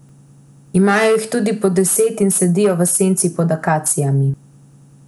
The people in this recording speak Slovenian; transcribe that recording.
Imajo jih tudi po deset in sedijo v senci pod akacijami.